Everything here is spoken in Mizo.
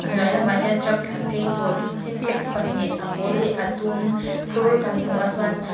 a hnuai lamah hian truck tlanphei tur sintex pahnih a pawl leh a dum phur kan hmu a chuan --